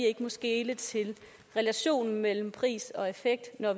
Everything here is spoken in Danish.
ikke må skele til relationen mellem pris og effekt når